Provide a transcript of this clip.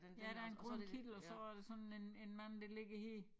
Ja der en grøn kittel og så er der sådan en en mand der ligger her